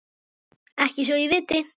Ekki svo ég viti.